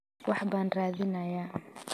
wax baan raadinayaa